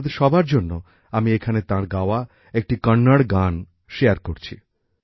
আপনাদের সবার জন্য আমি এখানে তাঁর গাওয়া একটি কন্নড় গান শোনাচ্ছি